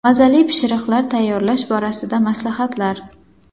Mazali pishiriqlar tayyorlash borasida maslahatlar.